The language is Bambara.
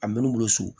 A mɛr'u bolo so